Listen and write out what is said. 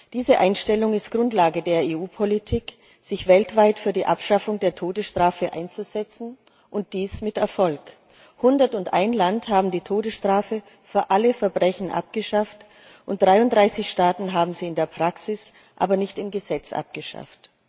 Diese Einstellung ist Grundlage der EU Politik, sich weltweit für die Abschaffung der Todesstrafe einzusetzen, und dies mit Erfolg 101 Land haben die Todesstrafe für alle Verbrechen abgeschafft, und 33 Staaten haben sie in der Praxis, aber nicht im Gesetz abgeschafft.